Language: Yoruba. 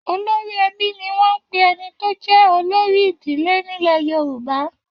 Olórí ẹbí ni wọ́n ń pè ẹni tó jẹ́ olórí ìdílé nílẹ̀ Yorùbá.